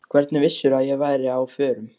Hvernig vissirðu að ég væri á förum?